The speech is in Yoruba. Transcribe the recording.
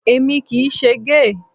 Èmi kì í ṣe géè.